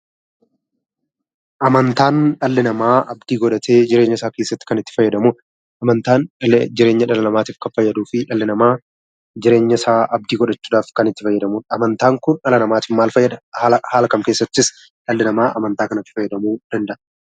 Amantaan dhalli namaa abdii godhatee jireenya isaa keessatti kan itti fayyadamudha. Amantaan illee jireenya dhalaa namaatiif kan fayyaduu fi dhalli namaa jireenyasaa abdii godhachuudhaaf kan itti fayyadamu. Amantaan kun dhala namaatiif maal fayyada? Haala kam keessattis dhalli namaa amantaa kanatti fayyadamuu danda'a?